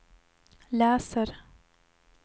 läser